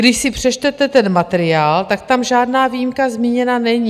Když si přečtete ten materiál, tak tam žádná výjimka zmíněna není.